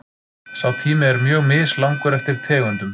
Sá tími er mjög mislangur eftir tegundum.